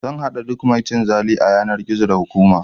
Zan haɗa duk mai cin zali a yanar gizo, da hukuma!